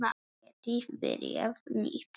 Geti byrjað nýtt líf.